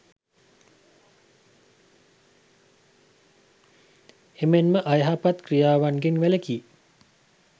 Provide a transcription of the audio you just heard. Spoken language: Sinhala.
එමෙන්ම අයහපත් ක්‍රියාවන්ගෙන් වැළකී